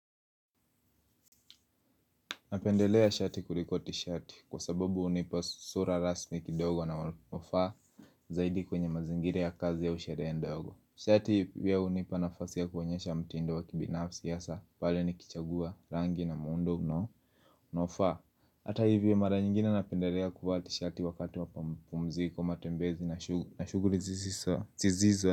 Napendelea shati kuliko tishati kwa sababu hunipa sura rasmi kidogo na wafaa zaidi kwenye mazingira ya kazi ya sherehe ndogo Shati pia hunipa nafasi ya kuonyesha mtindo wa kibinafsi hasa pale nikichagua rangi na muundo unao unaofaa, hata hivyo mara nyingine napendelea kufati tishati wakati wa mapampumziko matembezi na shughuli zisizo.